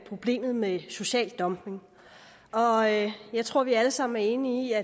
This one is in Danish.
problemet med social dumping og jeg jeg tror at vi alle sammen er enige